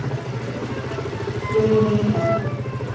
Förum við í dag?